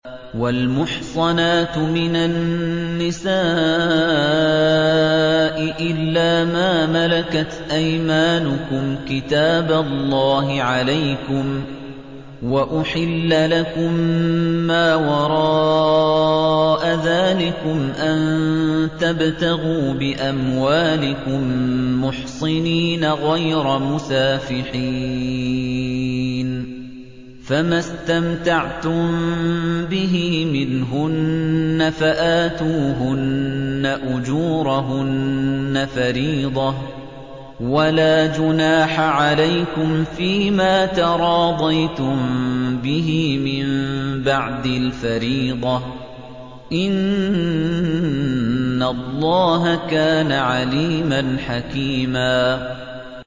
۞ وَالْمُحْصَنَاتُ مِنَ النِّسَاءِ إِلَّا مَا مَلَكَتْ أَيْمَانُكُمْ ۖ كِتَابَ اللَّهِ عَلَيْكُمْ ۚ وَأُحِلَّ لَكُم مَّا وَرَاءَ ذَٰلِكُمْ أَن تَبْتَغُوا بِأَمْوَالِكُم مُّحْصِنِينَ غَيْرَ مُسَافِحِينَ ۚ فَمَا اسْتَمْتَعْتُم بِهِ مِنْهُنَّ فَآتُوهُنَّ أُجُورَهُنَّ فَرِيضَةً ۚ وَلَا جُنَاحَ عَلَيْكُمْ فِيمَا تَرَاضَيْتُم بِهِ مِن بَعْدِ الْفَرِيضَةِ ۚ إِنَّ اللَّهَ كَانَ عَلِيمًا حَكِيمًا